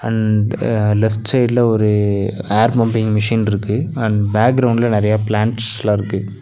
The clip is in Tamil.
அண்ட் லெஃப்ட் சைட்ல ஒரு ஏர் பம்பிங் மிஷின்ருக்கு அண்ட் பேக் கிரவுண்ட்ல நெறைய பிளான்ட்ல இருக்கு.